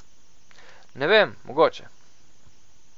Ne vem, mogoče.